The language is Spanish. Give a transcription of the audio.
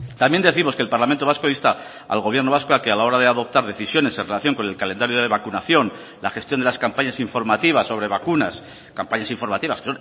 también décimos que el parlamento vasco insta al gobierno vasco a que a la hora de adoptar decisiones en relación con el calendario de vacunación la gestión de las campañas informativas sobre vacunas campañas informativas